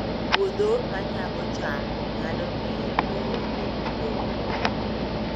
Puodho ma nyago cham nyalo miyo lowo obed gi lowo maber